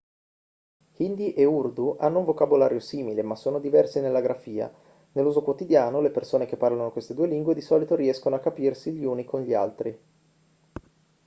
hindi e urdu hanno un vocabolario simile ma sono diversi nella grafia nell'uso quotidiano le persone che parlano queste due lingue di solito riescono a capirsi gli uni con gli altri